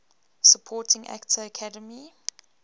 supporting actor academy